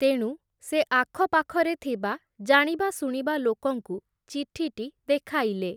ତେଣୁ ସେ ଆଖପାଖରେ ଥିବା, ଜାଣିବା ଶୁଣିବା ଲୋକଙ୍କୁ ଚିଠିଟି ଦେଖାଇଲେ ।